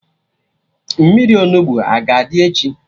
Mmiri Onugbu a ga-adị echi?